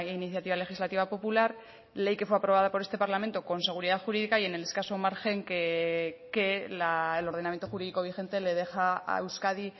iniciativa legislativa popular ley que fue aprobada por este parlamento con seguridad jurídica y en el escaso margen que el ordenamiento jurídico vigente le deja a euskadi